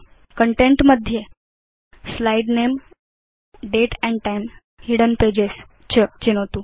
content मध्ये slide name date and time hidden pages च चिनोतु